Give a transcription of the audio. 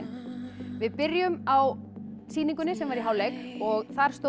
við byrjum á sýningunni sem var í hálfleik og þar stóðu